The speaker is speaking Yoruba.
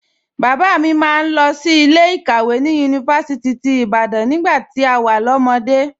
Bàbá mi máa ń lọ sí ilé ìkàwé ní Yunifásítì ti Ibadan nígbà tí a wà lọ́mọde